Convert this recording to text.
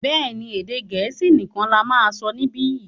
béèni, Èdè Gẹ̀ẹ́sì nikan là má sọ nibiyi.